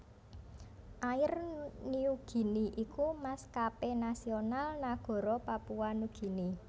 Air Niugini iku maskapé nasional nagara Papua Nugini